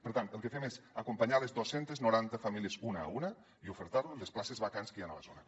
per tant el que fem és acompanyar les dos cents i noranta famílies una a una i ofertar los les places vacants que hi han a la zona